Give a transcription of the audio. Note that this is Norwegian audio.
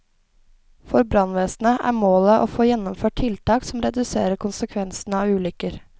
For brannvesenet er målet å få gjennomført tiltak som reduserer konsekvensene av ulykker.